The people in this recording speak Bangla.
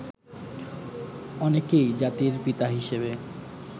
অনেকেই জাতির পিতা হিসেবে